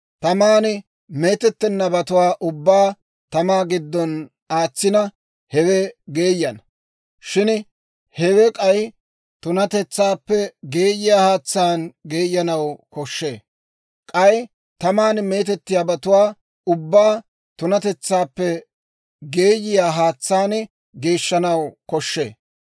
taman meetettennabatuwaa ubbaa tamaa giddona aatsina, hewe geeyana. Shin hewe k'ay tunatetsaappe geeyiyaa haatsaan geeyanaw koshshee. K'ay taman meetettiyaabatuwaa ubbaa tunatetsaappe geeyiyaa haatsaan geeshshanaw koshshee.